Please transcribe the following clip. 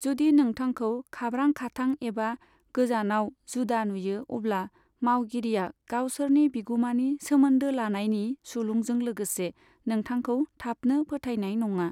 जुदि नोंथाखौ खाब्रां खाथां एबा गोजानाव जुदा नुयो अब्ला मावगिरिया गावसोरनि बिगुमानि सोमोन्दो लानायनि सुलुंजों लोगोसे नोंथांखौ थाबनो फोथाइनाय नङा।